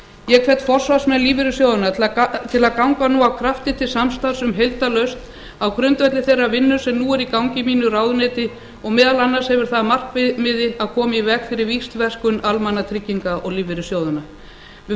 ég hvet forsvarsmenn lífeyrissjóðanna til að ganga nú af krafti til samstarfs um heildarlausn á grundvelli þeirrar vinnu sem nú er í gangi í mínu ráðuneyti og meðal annars hefur það að markmiði að koma í veg fyrir víxlverkun almannatrygginga lífeyrissjóðanna við